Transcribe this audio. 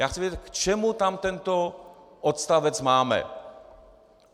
Já chci vědět, k čemu tam tento odstavec máme.